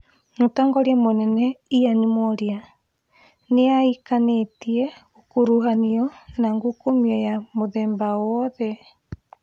Mũtongoria mũnene Ian Mworia naĩakanĩte gũkuruhanio na ngukumio ya mũthemba owothe